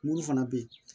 Mun fana bɛ yen